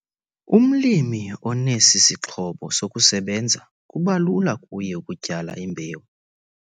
Umlimi onesi sixhobo sokusebenza kuba lula kuye ukutyala imbewu.